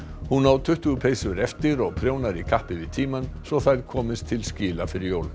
hún á tuttugu peysur eftir og prjónar í kappi við tímann svo þær komist til skila fyrir jól